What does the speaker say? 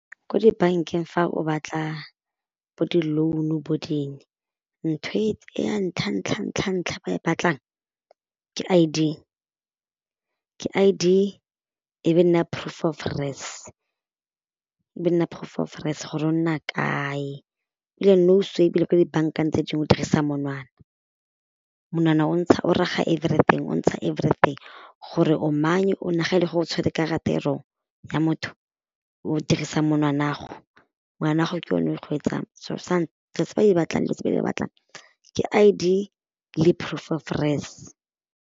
Ko dibankeng fa o batla bo di-loan bo ding, ntho e ya ntlha-ntlha-ntlha-ntlha ba e batlang ke I_D, ke I_D e be nna proof of res, e be nna proof res gore o nna kae, ebile nou so ebile ko dibankeng tse dingwe dirisa monwana, monwana o ntsha o raga everything o ntsha everything gore o manye o ga e le gore o tshwere karate e wrong ya motho, o dirisang monwana'go, monwana'go ke yone o tse ba di batlang le tse ba di batlang ke I_D le proof of res.